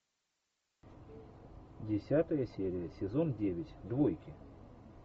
десятая серия сезон девять двойки